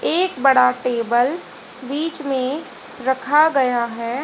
एक बड़ा टेबल बीच में रखा गया है।